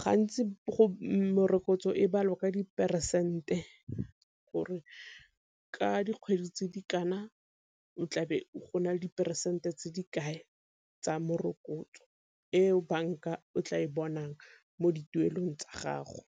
Gantsi go morokotso e balwa ka diperesente gore ka dikgwedi tse di kana o tlabe go na le diperesente tse di kae tsa morokotso eo banka o tla e bonang mo dituelong tsa gago.